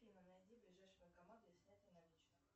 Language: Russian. афина найди ближайший банкомат для снятия наличных